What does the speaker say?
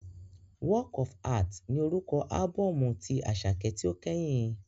“Work of Art” ni orúkọ ábọ́ọ̀mù tí Àṣàkẹ́ tí ó kẹ́yìn?